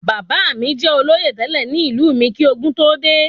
Bàbá mí jẹ olóyè tẹlẹ ní ìlú mí kí ogún tó dé